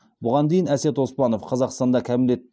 бұған дейін әсет оспанов қазақстанда кәмелет